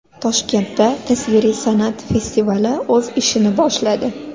Toshkentda tasviriy san’at festivali o‘z ishini boshladi .